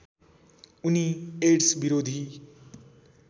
उनी एड्स विरोधी